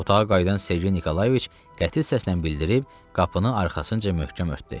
Otağa qayıdan Sergey Nikolayeviç qəti səslə bildirib qapını arxasınca möhkəm örtdü.